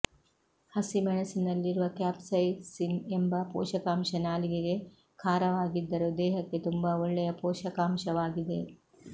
ಹಸಿಮೆಣಸಿನಲ್ಲಿರುವ capsaicin ಎಂಬ ಪೋಷಕಾಂಶ ನಾಲಿಗೆಗೆ ಖಾರವಾಗಿದ್ದರೂ ದೇಹಕ್ಕೆ ತುಂಬಾ ಒಳ್ಳೆಯ ಪೋಷಕಾಂಶವಾಗಿದೆ